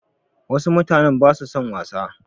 Wasu mutanen ba su son wasa.